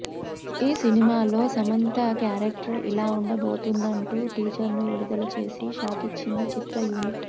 ఈ సినిమాలో సమంత క్యారక్టర్ ఇలా ఉండబోతుందంటూ టీజర్ ను విడుదల చేసి షాకిచ్చింది చిత్రయూనిట్